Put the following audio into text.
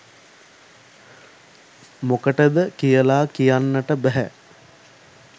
මොකටද කියලා කියන්ට බැහැ.